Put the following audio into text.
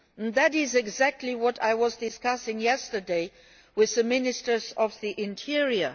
That is exactly what I was discussing yesterday with the Ministers of the Interior.